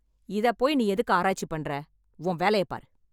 இதை போய் நீ எதுக்கு ஆராய்ச்சி பண்ற, உன் வேலைய பாரு.